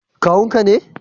Kawun ka ne?